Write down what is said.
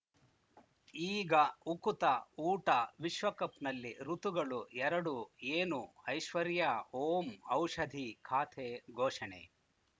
ಈಗ ಉಕುತ ಊಟ ವಿಶ್ವಕಪ್‌ನಲ್ಲಿ ಋತುಗಳು ಎರಡು ಏನು ಐಶ್ವರ್ಯಾ ಓಂ ಔಷಧಿ ಖಾತೆ ಘೋಷಣೆ